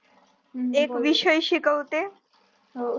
एक विषय शिकवते